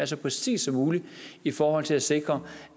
så præcist som muligt i forhold til at sikre